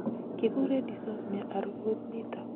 Kikuree dysosmia arubut nitok